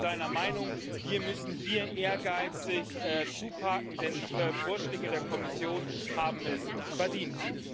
Und ich bin seiner Meinung Wir müssen hier ehrgeizig zupacken, denn die Vorschläge der Kommission haben es verdient.